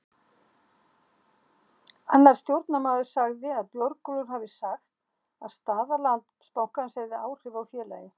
Annar stjórnarmaður sagði að Björgólfur hafi sagt að staða Landsbankans hefði engin áhrif á félagið.